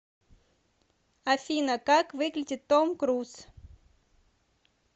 афина как выглядит том круз